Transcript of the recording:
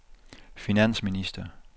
finansminister